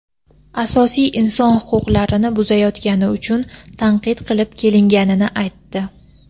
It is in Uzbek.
asosiy inson huquqlarini buzayotgani uchun tanqid qilib kelinganini aytdi.